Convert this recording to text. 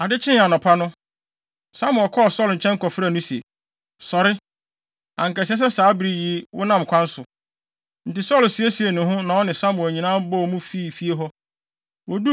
Ade kyee anɔpa no, Samuel kɔɔ Saulo nkyɛn kɔfrɛɛ no se, “Sɔre! Anka ɛsɛ sɛ saa bere yi wonam kwan so.” Enti Saulo siesiee ne ho na ɔne Samuel nyinaa bɔɔ mu fii fie hɔ.